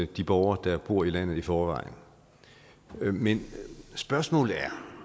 de borgere der bor i landet i forvejen men spørgsmålet er